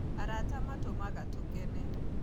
Arata matumaga tũkene